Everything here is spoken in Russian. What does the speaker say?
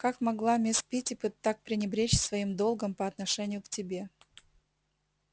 как могла мисс питтипэт пы так пренебречь своим долгом по отношению к тебе